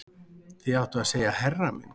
Þér áttuð að segja herra minn